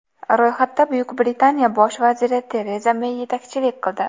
Ro‘yxatda Buyuk Britaniya bosh vaziri Tereza Mey yetakchilik qildi.